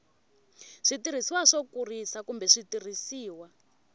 switirhisiwa swo kurisa kumbe switirhisiwa